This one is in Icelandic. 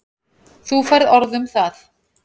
Þú færð orð um það.